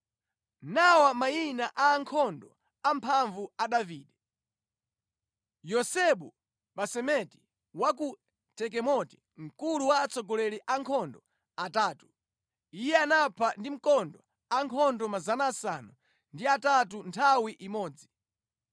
Nawa mayina a ankhondo amphamvu a Davide: Yosebu-Basebeti wa ku Takemoni mkulu wa atsogoleri a ankhondo atatu. Iye anapha ndi mkondo ankhondo 800 nthawi imodzi.